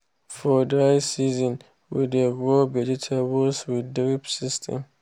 for dry season we dey grow vegetable with drip system.